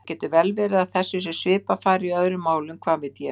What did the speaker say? Það getur vel verið að þessu sé svipað farið í öðrum málum, hvað veit ég?